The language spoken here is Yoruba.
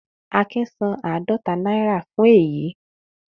Akin san àádọta náírà fún èyí